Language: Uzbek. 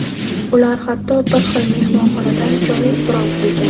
Ular hatto bir xil mehmonxonadan joy bron qilgan.